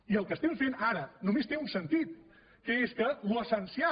i el que estem fent ara només té un sentit que és que l’essencial